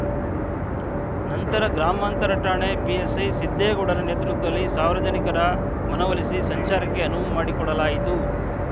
ನಂತರ ಗ್ರಾಮಾಂತರ ಠಾಣೆ ಪಿಎಸ್‌ಐ ಸಿದ್ದೇಗೌಡರ ನೇತೃತ್ವದಲ್ಲಿ ಸಾರ್ವಜನಿಕರ ಮನವೊಲಿಸಿ ಸಂಚಾರಕ್ಕೆ ಅನುವು ಮಾಡಿಕೊಡಲಾಯಿತು